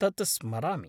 तत् स्मरामि।